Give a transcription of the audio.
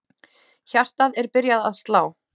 Hjartað er byrjað að slá.